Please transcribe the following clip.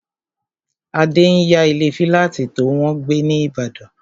Adé n yá ilé fílátì tó wọ́n gbé ní ìbàdàn